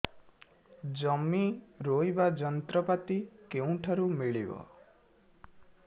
ଜମି ରୋଇବା ଯନ୍ତ୍ରପାତି କେଉଁଠାରୁ ମିଳିବ